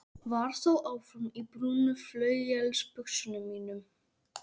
Var þó áfram í brúnu flauelsbuxunum mínum.